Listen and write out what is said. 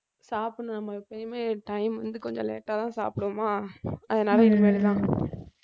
சாப்பிடணும் நம்ம எப்பயுமே time வந்து கொஞ்சம் late ஆ தான் சாப்பிடுவோமா அதனால இனிமேல்தான்